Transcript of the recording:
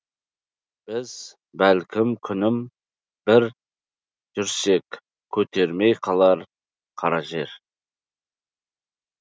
біз бәлкім күнім бір жүрсек көтермей қалар қара жер